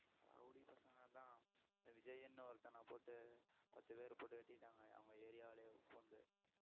rowdy பசங்க அதன் இந்த விஜய்ன்னு ஒருத்தனை போட்டு பத்து பேர் போட்டு வெட்டிட்டாங்க அவங்க area விலேயே புகுந்து